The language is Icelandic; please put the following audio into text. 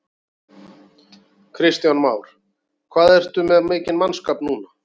Kristján Már: Hvað ertu með mikinn mannskap núna?